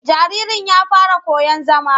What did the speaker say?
Jaririn ya fara koyon zama.